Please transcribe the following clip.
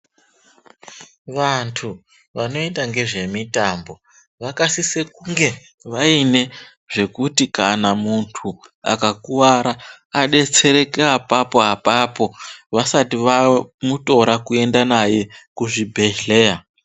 Vantu vanoita ngezvemitambo vakasise kunge vaine zvekuti kana muntu akakuwara adetsereke apapo apapo, vasati vamutora kuenda naye kuzvibhedhleya.